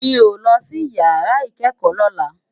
Mi ó lòsí iyàrá ikèékò lòlá